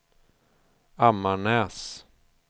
Ammarnäs